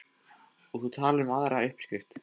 Og þú talar um aðra uppskrift.